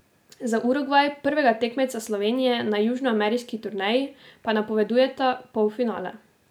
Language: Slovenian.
Za Urugvaj, prvega tekmeca Slovenije na južnoameriški turneji, pa napovedujeta polfinale.